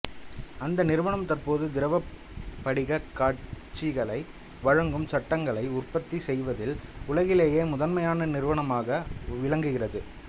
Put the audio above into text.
அந்த நிறுவனம் தற்போது திரவப் படிகக் காட்சிகளை வழங்கும் சட்டகங்களை உற்பத்தி செய்வதில் உலகிலேயே முதன்மையான நிறுவனமாக விளங்குகிறது